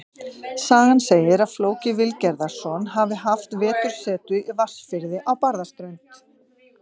Sagan segir að Flóki Vilgerðarson hafi haft vetursetu í Vatnsfirði á Barðaströnd.